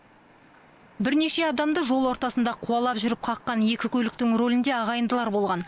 бірнеше адамды жол ортасында қуалап жүріп қаққан екі көліктің рөлінде ағайындылар болған